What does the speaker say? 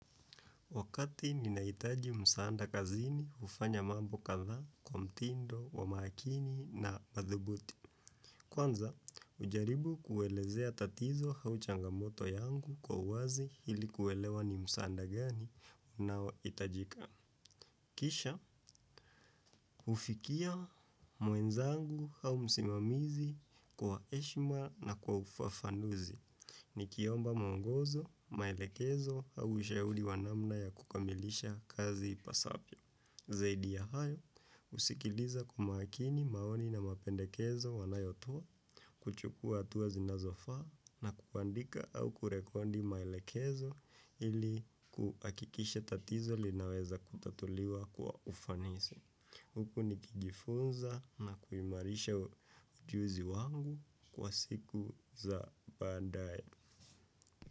Wakati ninaitaji msaanda kazini hufanya mambo kadhaa kwa mtindo wa makini na badhubuti. Kwanza, hujaribu kuelezea tatizo au changamoto yangu kwa wazi hili kuelewa ni msaanda gani nao hitajika. Kisha, hufikia mwenzangu au msimamizi kwa heshima na kwa ufafanduzi. Nikiomba muongozo, maelekezo au ushauri wa namna ya kukamilisha kazi ipasavyo. Zaidi ya hayo, husikiliza kwa makini maoni na mapendekezo wanayotoa, kuchukua hatua zinazofaa na kuandika au kurekodi maelekezo ili kuhakikisha tatizo linaweza kutatuliwa kwa ufanisi. Huku nikijifunza na kuimarisha ujuzi wangu kwa siku za baadae.